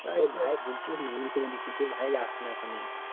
আরে ভাই বলছি মান করে দিছি তো ভাই যাস না ওখানে